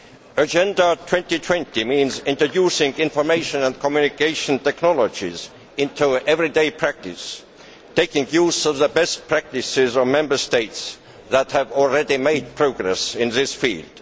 Agenda 2020 means introducing information and communication technologies into everyday practice, making use of the best practices of Member States that have already made progress in this field.